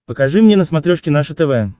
покажи мне на смотрешке наше тв